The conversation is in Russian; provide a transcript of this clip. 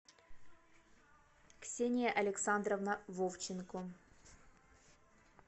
ксения александровна вовченко